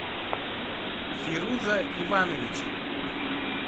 фируза ивановича